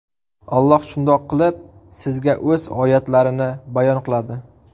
Alloh shundoq qilib sizga O‘z oyatlarini bayon qiladi.